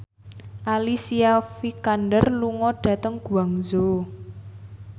Alicia Vikander lunga dhateng Guangzhou